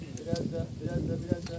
Bir az da, bir az da, bir az da.